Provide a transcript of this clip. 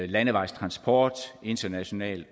landevejstransport international